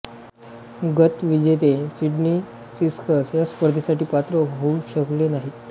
गतविजेते Sydney Sixers या स्पर्धेसाठी पात्र होऊ शकले नाहीत